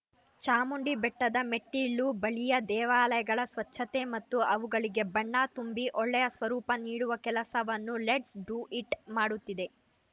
ಚಾಮುಂಡಿಬ್ಟೆಟದ ಮೆಟ್ಟಿಲು ಬಳಿಯ ದೇವಾಲಯಗಳ ಸ್ವಚ್ಛತೆ ಮತ್ತು ಅವುಗಳಿಗೆ ಬಣ್ಣ ತುಂಬಿ ಒಳ್ಳೆಯ ಸ್ವರೂಪ ನೀಡುವ ಕೆಲಸವನ್ನು ಲೆಟ್ಸ್‌ ಡು ಇಟ್‌ ಮಾಡುತ್ತಿದೆ